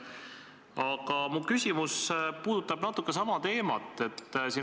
Aga mu küsimus puudutab kergelt sama teemat.